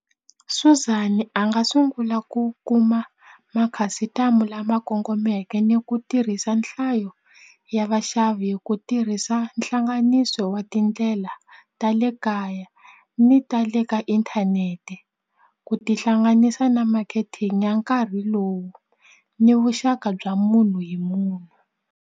Suzan a nga sungula ku kuma makhasitamu lama kongomeke ni ku tirhisa nhlayo ya vaxavi hi ku tirhisa hlanganiso wa tindlela ndlela ta le kaya ni ta le ka inthanete ku tihlanganisa na marketing ya nkarhi lowu ni vuxaka bya munhu hi munhu.